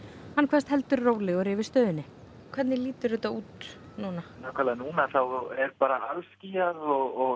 hann kveðst heldur rólegur yfir stöðunni hvernig lítur þetta út núna nákvæmlega núna þá er bara alskýjað og